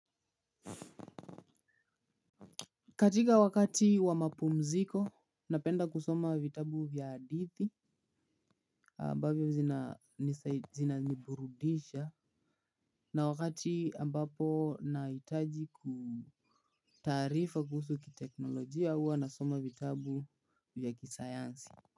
Katika wakati wa mapumziko, napenda kusoma vitabu vya hadithi ambavyo zina niburudisha. Na wakati ambapo nahitaji kutaarifa kuhusu kiteknolojia huwa nasoma vitabu vya kisayansi.